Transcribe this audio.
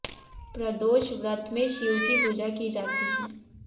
प्रदोष व्रत में शिव की पूजा की जाती है